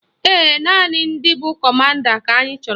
Ee, naanị ndị bụ kọmanda ka anyị chọrọ